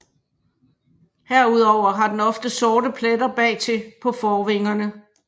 Herudover har den ofte sorte pletter bagtil på forvingerne